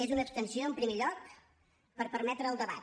és una abstenció en primer lloc per permetre el debat